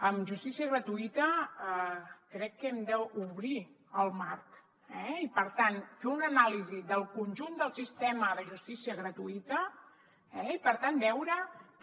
en justícia gratuïta crec que hem d’obrir el marc i per tant fer una anàlisi del conjunt del sistema de justícia gratuïta i per tant veure també